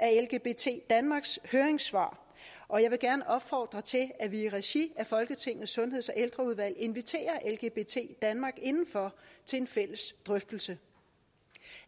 lgbt danmarks høringssvar og jeg vil gerne opfordre til at vi i regi af folketingets sundheds og ældreudvalg inviterer lgbt danmark indenfor til en fælles drøftelse